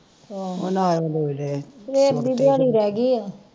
ਆਹੋ ਸਵੇਰ ਦੀ ਦਿਹਾੜੀ ਰਹਿ ਗਈ ਆ